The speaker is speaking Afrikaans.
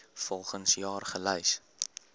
volgens jaar gelys